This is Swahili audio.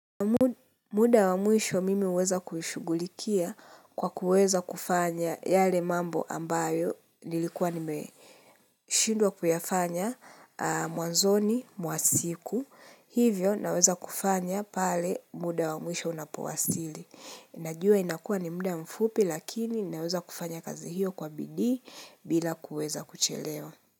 Muda wa mwisho mimi huweza kuishughulikia kwa kuweza kufanya yale mambo ambayo nilikuwa nimeshindwa kuyafanya mwanzoni mwa siku, hivyo naweza kufanya pale muda wa mwisho unapowasili. Najua inakuwa ni muda mfupi lakini naweza kufanya kazi hiyo kwa bidii bila kuweza kuchelewa.